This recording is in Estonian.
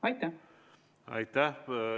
Aitäh!